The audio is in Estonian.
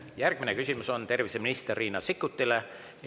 Järgmine küsimus on terviseminister Riina Sikkutile.